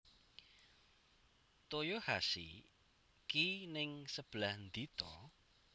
Toyohashi ki ning sebelah ndi to